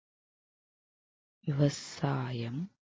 விவசாயம்